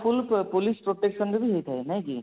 full police protection ରେ ବି ହେଇଥାଏ ନାଇଁ କି